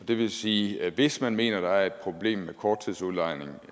det vil sige at hvis man mener at der er et problem med korttidsudlejning